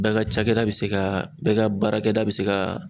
Bɛɛ ka cakɛda bɛ se ka bɛɛ ka baarakɛda bɛ se ka